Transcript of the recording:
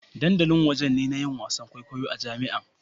Dandali wajen ne na yin wasa kwaikwayo a jami'a.